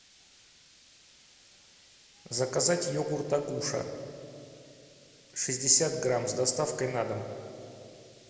заказать йогурт агуша шестьдесят грамм с доставкой на дом